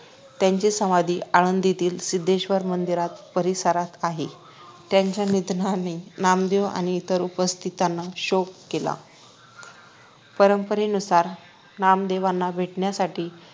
त्यांची समाधी आळंदीतील सिद्धेश्वर मंदिर परिसरात आहे त्यांच्या निधनाने नामदेव आणि इतर उपस्थितांनी शोक केला परंपरेनुसार नामदेवांना भेटण्यासाठी